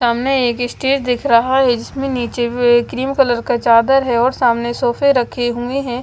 सामने एक स्टेज देख रहा है जिसमें नीचे क्रीम कलर का चादर है और सामने सोफे रखे हुए है।